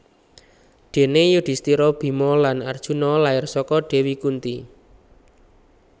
Déné Yudhistira Bima lan Arjuna lair saka Dewi Kunti